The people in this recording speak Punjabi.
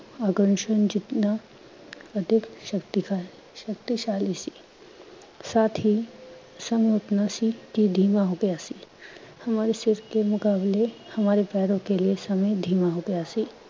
ਜਿਤਨਾ ਅਧਿਕ ਸ਼ਕਤੀ ਸ਼ਕਤੀਸ਼ਾਲੀ, ਸਾਥ ਹੀ ਸਮੇਂ ਅਪਨਾ ਸੀ ਕਿ ਧੀਮਾ ਹੋ ਗਿਆ ਸੀ, ਹਮਾਰੇ ਸਿਰ ਕੇ ਮੁਕਾਬਲੇ ਹਮਾਰੇ ਪੈਰੋਂ ਕੇ ਲਿਏ ਸਮੇਂ ਧੀਮਾ ਹੋ ਗਿਆ ਸੀ।